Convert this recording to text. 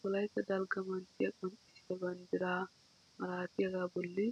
Wollaytta dalgga manttiyaa qonccisiyaa banddiraa malatiyaagaa bolli